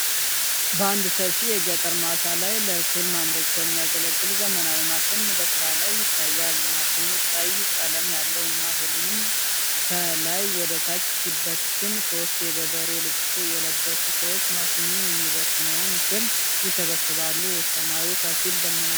በአንድ ሰፊ የገጠር ማሳ ያለ ለእህል ማምረቻ የሚያገለግል ዘመናዊ ማሽን በስራ ላይ ይታያል። ማሽኑ ቀይ ቀለም ያለው እና እህሉን ከላይ ወደታች ሲበትን፣ ሶስት የገበሬ ልብስ የለበሱ ሰዎች ማሽኑ የሚበትነዉን እህል ይሰበስባሉ። ሰማዩ ከፊል ደመናማ ነዉ።